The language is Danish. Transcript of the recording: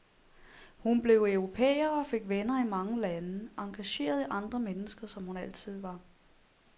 Hun blev europæer og fik venner i mange lande, engageret i andre mennesker, som hun altid var.